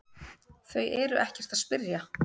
Þau eru ekkert að spyrja